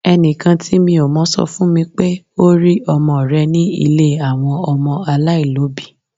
Ẹnìkan tí mi ò mọ̀ sọ fún mi pé ó rí ọmọ rẹ ní ilé àwọn ọmọ aláìlóbìí